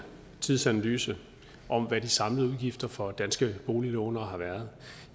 tidsanalyse af hvad de samlede udgifter for danske boliglåntagere har været